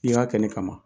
I y'a kɛ ne kama